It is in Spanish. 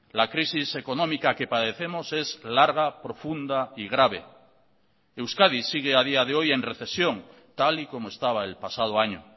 la crisis económica que padecemos es larga profunda y grave euskadi sigue a día de hoy en recesión tal y como estaba el pasado año